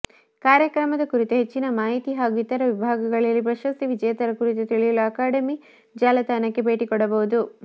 ಕಾರ್ಯಕ್ರಮದ ಕುರಿತು ಹೆಚ್ಚಿನ ಮಾಹಿತಿ ಹಾಗೂ ಇತರ ವಿಭಾಗಗಳಲ್ಲಿ ಪ್ರಶಸ್ತಿ ವಿಜೇತರ ಕುರಿತು ತಿಳಿಯಲು ಅಕಾಡೆಮಿ ಜಾಲತಾಣಕ್ಕೆ ಭೇಟಿಕೊಡಬಹುದು